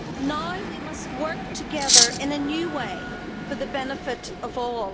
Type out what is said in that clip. Now we must work together in a new way for the benefit of all.